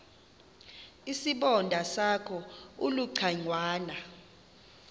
isibonda sakho ulucangwana